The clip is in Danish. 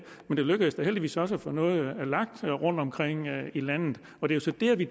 men det lykkedes da heldigvis også at få noget lagt ud rundtomkring i landet det er så der at vi